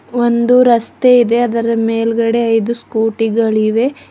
ಒಂದು ರಸ್ತೆ ಇದೆ ಅದರ ಮೇಲ್ಗಡೆ ಐದು ಸ್ಕೂಟಿ ಗಳಿವೆ.